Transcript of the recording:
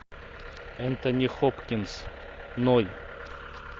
энтони хопкинс ноль